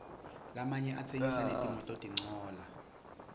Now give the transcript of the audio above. lamanye atsengisa netimototincola